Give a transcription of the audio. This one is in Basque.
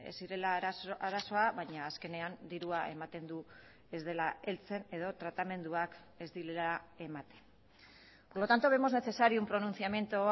zirela arazoa baina azkenean dirua ematen du ez dela heltzen edo tratamenduak ez direla ematen por lo tanto vemos necesario un pronunciamiento